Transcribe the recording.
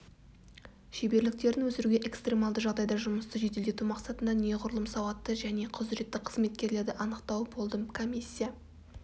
шеберліктерін өсіруге экстремалды жағдайда жұмысты жеделдету мақсатында неғұрлым сауатты және құзыретті қызметкерлерді анықтау болды комиссия